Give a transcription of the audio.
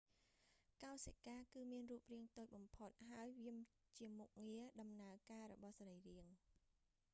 កោសិការគឺមានរូបរាងតូចបំផុត ហើយវាជាមុខងារដំណើរការរបស់សីរីរាង្គ